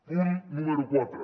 punt número quatre